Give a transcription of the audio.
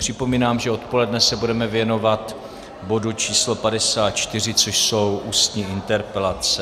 Připomínám, že odpoledne se budeme věnovat bodu č. 54, což jsou ústní interpelace.